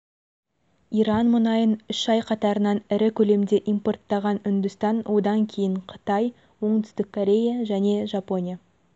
иран мұнайын үш ай қатарынан ірі көлемде импорттаған үндістан одан кейін қытай оңтүстік корея және жапония